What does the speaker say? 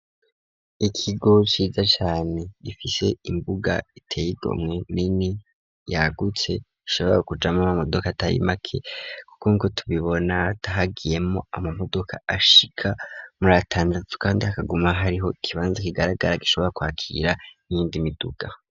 Ikigo ciza cane gifise imbuga iteye igomwe nini yagutse ishobora kujamwo amamodoka atari make kuko nkuko tubibona hagiyemwo amamodoka ashika muri atandatu kandi hakaguma hariho ikibanza kigaragara gishobora kwakira n'iyindi miduga.